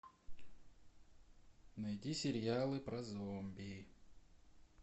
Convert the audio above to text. найди сериалы про зомби